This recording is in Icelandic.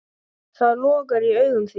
Það logar í augum þínum.